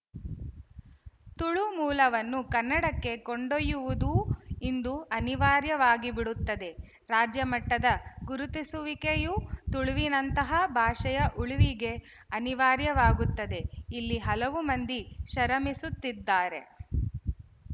ತುಳು ಮೂಲವನ್ನು ಕನ್ನಡಕ್ಕೆ ಕೊಂಡೊಯ್ಯುವುದೂ ಇಂದು ಅನಿವಾರ್ಯವಾಗಿಬಿಡುತ್ತದೆ ರಾಜ್ಯಮಟ್ಟದ ಗುರುತಿಸುವಿಕೆಯು ತುಳುವಿನಂತಹಾ ಭಾಷೆಯ ಉಳಿವಿಗೆ ಅನಿವಾರ್ಯವಾಗುತ್ತದೆ ಇಲ್ಲಿ ಹಲವು ಮಂದಿ ಶರಮಿಸುತ್ತಿದ್ದಾರೆ